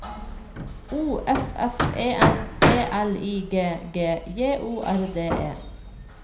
O F F E N T L I G G J O R D E